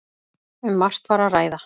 Um margt var að ræða.